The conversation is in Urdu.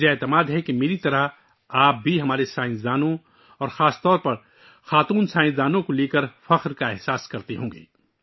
مجھے یقین ہے کہ میری طرح آپ کو بھی ہمارے سائنسدانوں اور خاص کر خواتین سائنسدانوں پر فخر ہوگا